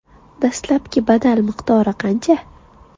Dastlabki badal miqdori qancha?